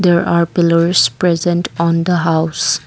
there are pillars present on the house.